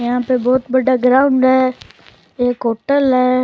यहाँ पे एक बहुत बड़ा ग्राउंड है एक होटल है।